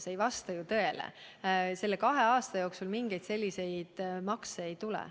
See ei vasta ju tõele, selle kahe aasta jooksul mingeid selliseid makse ei tule.